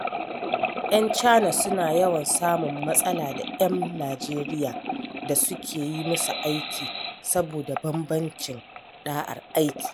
‘Yan Chana suna yawan samun matsala da ‘yan Nijeriya da suke yi musu aiki, saboda bambancin ɗa’ar aiki.